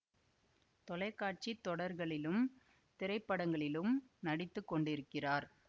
தொலை காட்சி தொடர்களிலும் திரைப்படங்களிலும் நடித்து கொண்டிருக்கிறார்